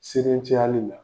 cayali la.